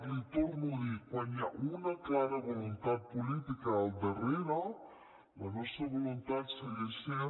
l’hi torno a dir quan hi ha una clara voluntat política al darrere la nostra voluntat segueix sent